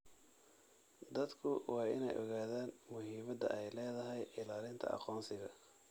Dadku waa in ay ogaadaan muhiimadda ay leedahay ilaalinta aqoonsiga.